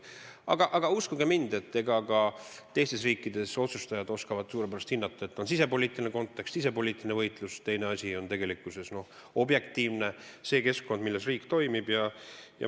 Aga uskuge mind, ka teistes riikides oskavad otsustajad suurepäraselt hinnata, et on sisepoliitiline kontekst ja sisepoliitiline võitlus, teine asi on objektiivne keskkond, milles riik toimib.